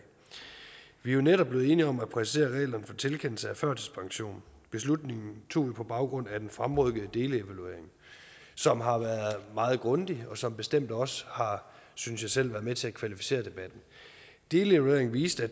vi er jo netop blevet enige om at præcisere reglerne for tilkendelse af førtidspension beslutningen tog vi på baggrund af den fremrykkede delevaluering som har været meget grundig og som bestemt også har synes jeg selv været med til at kvalificere debatten delevalueringen viste